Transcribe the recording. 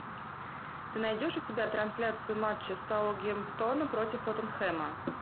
ты найдешь у себя трансляцию матча саутгемптона против тоттенхэма